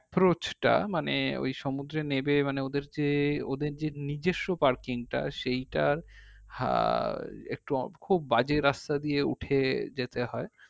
approach টা মানে ওই সমুদ্র নেবে মানে ওদের যে ওদের যে নিজস্ব parking টা সেইটার আহ একটু খুব বাজে রাস্তা দিয়ে উঠে যেতে হয়